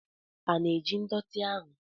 A na-eji ndọtị ahụ?